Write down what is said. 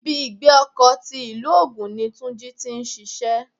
Ibi ìgbé ọkọ̀ sí ti ilu ogún ní Túnjí tí ń ṣíṣe.